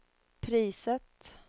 priset